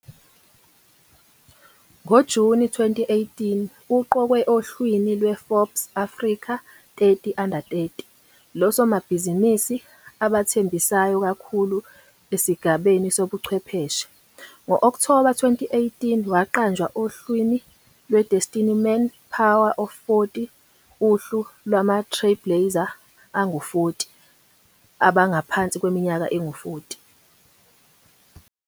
NgoJuni 2018, uqokwe ohlwini lweForbes Africa 30 Under 30 losomabhizinisi abathembisayo kakhulu esigabeni sobuchwepheshe. Ngo-Okthoba 2018 waqanjwa ohlwini lwe- Destiny Man Power of 40, uhlu lwama-trailblazer angu-40 abangaphansi kweminyaka engu-40.